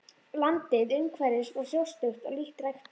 Landið umhverfis var hrjóstrugt og lítt ræktað.